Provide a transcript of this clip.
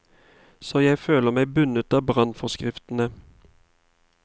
Så jeg føler meg bundet av brannforskriftene.